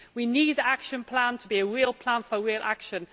We need the Action Plan to be a real plan for real action.